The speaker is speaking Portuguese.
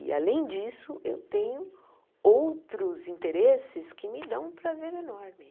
E, além disso, eu tenho outros interesses que me dão um prazer enorme.